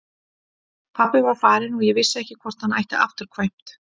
Pabbi var farinn og ég vissi ekki hvort hann ætti afturkvæmt.